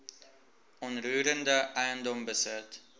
onroerende eiendom besit